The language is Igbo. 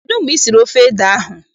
Kedụ mgbe I siri ofe ede ahụ?